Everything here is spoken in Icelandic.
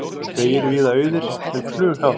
Vegir víða auðir en flughált